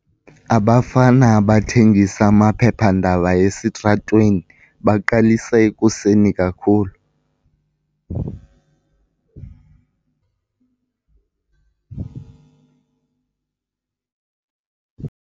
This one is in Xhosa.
Abafana abathengisa amaphephandaba esitratweni baqalisa ekuseni kakhulu.